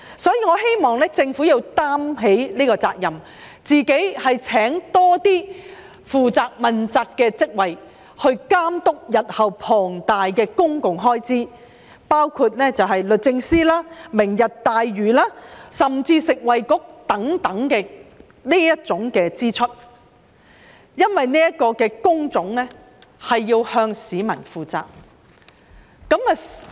所以，我希望政府要承擔這個責任，多聘請自己負責的職位，監督日後龐大的公共開支，包括律政司、"明日大嶼願景"甚至食物及衞生局等的相關支出，因為這些工種是要向市民負責的。